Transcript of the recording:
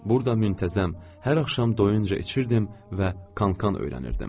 Burada müntəzəm, hər axşam doyunca içirdim və kon-kan öyrənirdim.